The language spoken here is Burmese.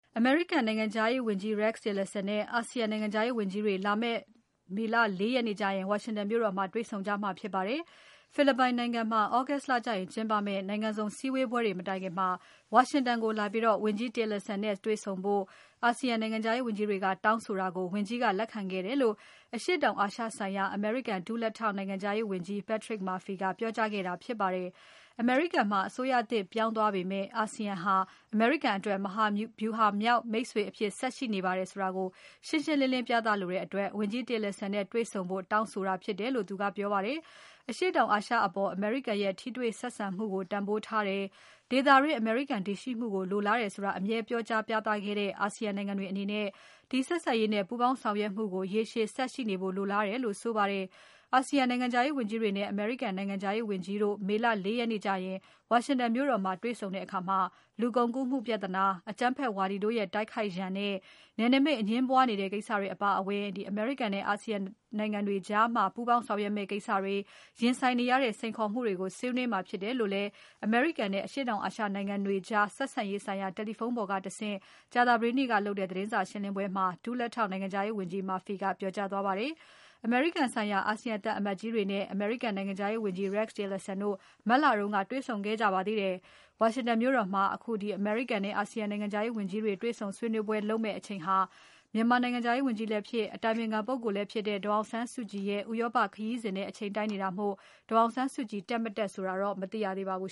အမေရိကန်နိုင်ငံခြားရေးဝန်ကြီး Rex Tillerson နဲ့ အာဆီယံနိုင်ငံခြားရေးဝန်ကြီးတွေ လာမယ့် မေလ ၄ ရက်နေ့ကျရင် ဝါရှင်တန်မြို့တော်မှာ တေ့ွဆုံကြမှာဖြစ်ပါတယ်။ ဖိလစ်ပိုင်နိုင်ငံမှာ August လကျရင်ကျင်းပမယ့် နိုင်ငံစုံစည်းဝေးပွဲတွေ မတိုင်ခင် ဝါရှင်တန်ကိုလာပြီး ဝန်ကြီး Tillerson နဲ့တေ့ွဆုံဖို့ အာဆီယံနိုင်ငံခြားရေးဝန်ကြီးတွေက တောင်းဆိုတာကို ဝန်ကြီးကလက်ခံခဲ့တယ်လို့ အရှေ့တောင်အာရှဆိုင်ရာ အမေရိကန်ဒုလက်ထောက် နိုင်ငံခြားရေးဝန်ကြီး Patrick Murphy ကပြောကြားခဲ့တာဖြစ်ပါတယ်။ အမေရိကန်မှာ အစိုးရသစ်ပြောင်းသွားပေမဲ့ အာဆီယံဟာ အမေရိကန်အတွက် မဟာဗြူဟာမြောက်မိတ်ဆွေ အဖြစ်ဆက်ရှိနေပါတယ်ဆိုတာကို ရှင်းရှင်းလင်းလင်းပြသလိုတဲ့အတွက် ဝန်ကြီး Tillerson နဲ့တေ့ွဆုံဖို့ တောင်းဆိုတာ ဖြစ်တယ်လို့ သူကပြောပါတယ်။ အရှေ့တောင်အာရှအပေါ် အမေရိကန်ရဲ့ ထိတွေ့ဆက်ဆံမှုကို တန်ဖိုးထားတယ်။ ဒေသတွင်း အမေရိကန်တည်ရှိမှုကို လိုလားတယ်ဆိုတာကို အမြဲပြောကြားပြသခဲ့ကြတဲ့ အာဆီယံနိုင်ငံတွေအနေနဲ့ ဒီဆက်ဆံရေးနဲ့ ပူးပေါင်းဆောင်ရွက်မှုကို ရေရှည်ဆက်ရှိနေဖို့ လိုလားတယ်လို့ဆိုပါတယ်။ အာဆီယံနိုင်ငံခြားရေးဝန်ကြီးတွေနဲ့ အမေရိကန်နိုင်ငံခြားရေးဝန်ကြီးတို့ မေလ ၄ ရက်နေ့ကျရင် ဝါရှင်တန်မြို့တော်မှာ တွေ့ဆုံကြတဲ့အခါ လူကုန်ကူးမှုပြဿနာ၊ အကြမ်းဖက်ဝါဒီတို့ရဲ့ တိုက်ခိုက်ရန်နဲ့ နယ်နိမိတ်အငြင်းပွားနေတဲ့ ကိစ္စတွေအပါအဝင် အမေရိကန်နဲ့ အာဆီယံနိုင်ငံတွေကြား ပူးပေါင်းဆောင်ရွက်မယ့်ကိစ္စတွေ၊ ရင်ဆိုင်နေရတဲ့ စိန်ခေါ်မှုတွေကို ဆွေးနွေးမှာဖြစ်တယ်လို့လည်း အမေရိကန်နဲ့ အရှေ့တောင်အာရှနိုင်ငံတွေကြား ဆက်ဆံရေးဆိုင်ရာ တယ်လီဖုန်းပေါ်ကတဆင့် ကြာသပတေးနေ့ကလုပ်တဲ့ သတင်းစာရှင်းပွဲမှာ ဒုလက်ထောက် နိုင်ငံခြားရေးဝန်ကြီး Murphy က ပြောကြားသွားပါတယ်။ အမေရိကန်ဆိုင်ရာအာဆီယံသံအမတ်ကြီးတွေနဲ့ အမေရိကန်နိုင်ငံခြားရေးဝန်ကြီး Rex Tillerson တို့ ပြီးခဲ့တဲ့လက တေ့ွဆုံခဲ့ကြပါသေးတယ်။ ဝါရှင်တန်မြို့တော်မှာ အမေရိကန်နဲ့ အာဆီယံနိုင်ငံခြားရေးဝန်ကြီးတွေ တေ့ွဆုံဆွေးနွေးပွဲလုပ်မယ့်အချိန်ဟာ မြန်မာနိုင်ငံခြားရေးဝန်ကြီးလည်းဖြစ် အတိုင်ပင်ခံပုဂ္ဂိုလ်လည်းဖြစ်တဲ့ ဒေါ်အောင်ဆန်းစုကြည်ရဲ့ ဥရောပခရီးနဲ့ အချိန်တိုက်နေတာမို့ ဒေါ်အောင်ဆန်းစုကြည် တက်မတက်ဆိုတာ မသိရသေးပါဘူ